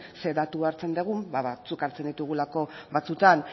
ze datu hartzen dugun batzuk hartzen ditugulako batzuetan